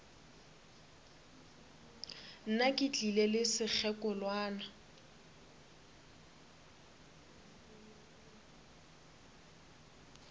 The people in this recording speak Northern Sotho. nna ke tlile le sekgekolwana